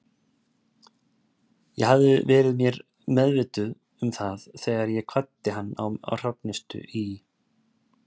Ég hafði verið mér meðvituð um það þegar ég kvaddi hann á Hrafnistu í